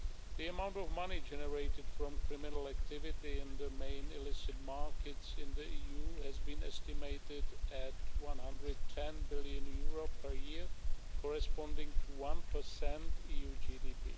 The amount of money generated from criminal activity in the main illicit markets in the EU has been estimated at EUR 110 billion per year, corresponding to 1 of EU GDP.